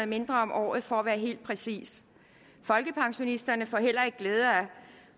mindre om året for at være helt præcis folkepensionisterne får heller ikke glæde af